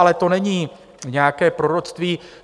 Ale to není nějaké proroctví.